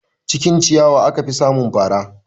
Cikin ciyawa aka fi samun fara